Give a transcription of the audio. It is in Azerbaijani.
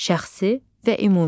Şəxsi və ümumi.